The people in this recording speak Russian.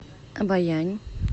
обоянь